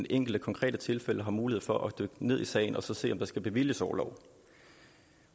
enkelte konkrete tilfælde har mulighed for at dykke ned i sagen og se om der skal bevilges orlov